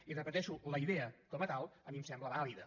i ho repeteixo la idea com a tal a mi em sembla vàlida